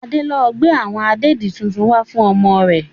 Adé ń lọ gbe awon ìdèdi tuntun wá fún ọmọ rẹ.